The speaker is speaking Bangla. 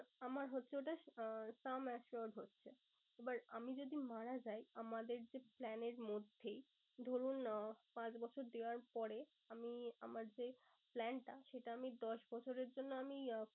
আমার হচ্ছে ওটা আহ sum assured হচ্ছে। এবার আমি যদি মারা যাই আমাদের যে plan এর মধ্যেই, ধরুন আহ পাঁচ বছর দেওয়ার পরে আমি আমার যে plan টা সেটা আমি দশ বছরের জন্য আমি